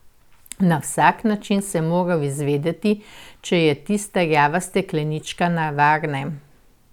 Na vsak način sem moral izvedeti, če je tista rjava steklenička na varnem.